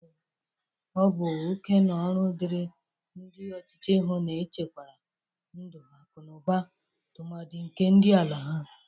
Ọ bụ oke na ọrụ dịri ndị ọchịchị ihu na-echekwara ndụ, akụnụba, tụmadị nke ndị ala ha.